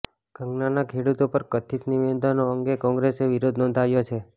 કંગનાના ખેડૂતો પર કથિત નિવેદનો અંગે કોંગ્રેસે વિરોધ નોંધાવ્યો છે